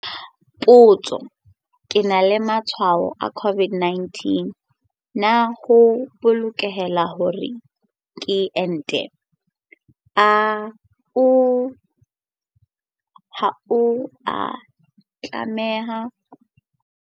Potso- Ke na le matshwao a COVID-19 na ho bolokehile hore ke ente? Ha o a tlameha ho enta ha o bona matshwao a COVID-19.